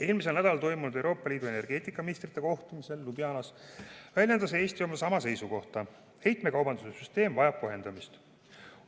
Eelmisel nädalal toimunud Euroopa Liidu energeetikaministrite kohtumisel Ljubljanas väljendas Eesti sama seisukohta: heitmekaubanduse süsteem vajab kohendamist.